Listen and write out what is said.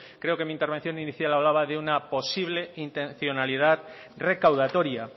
creo que en mi intervención inicial hablaba de una posible intencionalidad recaudatoria